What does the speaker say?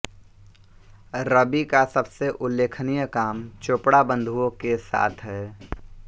रवि का सबसे उल्लेखनीय काम चोपड़ा बंधुओं के साथ है